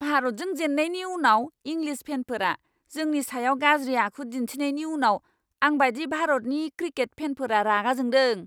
भारतजों जेननायनि उनाव इंलिस फेनफोरा जोंनि सायाव गाज्रि आखु दिन्थिनायनि उनाव आंबायदि भारतनि क्रिकेट फेनफोरा रागा जोंदों!